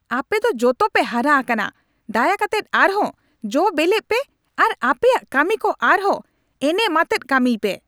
ᱟᱯᱮ ᱫᱚ ᱡᱚᱛᱚᱯᱮ ᱦᱟᱨᱟ ᱟᱠᱟᱱᱟ ! ᱫᱟᱭᱟ ᱠᱟᱛᱮᱫ ᱟᱨᱦᱚᱸ ᱡᱚ ᱵᱮᱞᱮᱜ ᱯᱮ ᱟᱨ ᱟᱯᱮᱭᱟᱜ ᱠᱟᱹᱢᱤᱠᱚ ᱟᱨᱦᱚᱸ ᱮᱱᱮᱢᱟᱛᱮᱫ ᱠᱟᱹᱢᱤᱭ ᱯᱮ ᱾